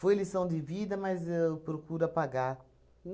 Foi lição de vida, mas eu procuro apagar.